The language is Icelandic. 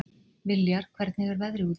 Viljar, hvernig er veðrið úti?